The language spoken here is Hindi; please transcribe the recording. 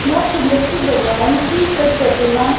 बहोत सुंदर से भगवान की प्रतिमा--